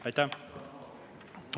Aitäh!